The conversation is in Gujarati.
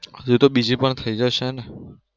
હજુ તો બીજી પણ થઇ જશે ને